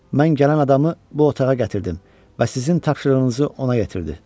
Mən gələn adamı bu otağa gətirdim və sizin tapşırığınızı ona yetirdi.